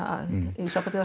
í sambandi við